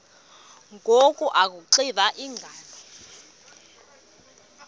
ngoku akuxiva iingalo